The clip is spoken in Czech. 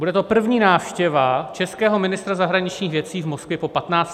Bude to první návštěva českého ministra zahraničních věcí v Moskvě po 15 letech.